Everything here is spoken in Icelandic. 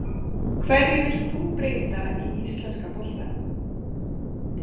Hverju vilt þú breyta í íslenska boltanum?